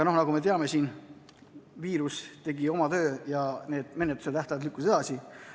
Nagu me teame, viirus tegi oma töö ja menetluse tähtajad lükkusid edasi.